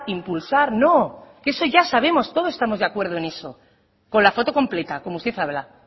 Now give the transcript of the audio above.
impulsar no eso ya sabemos todos estamos de acuerdo en eso con la foto completa como usted habla